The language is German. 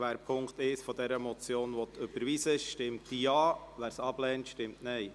Wer den Punkt 1 der Motion überweisen will, stimmt Ja, wer dies ablehnt, stimmt Nein.